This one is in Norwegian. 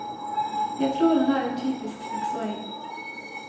Jeg tror han er en typisk seksåring.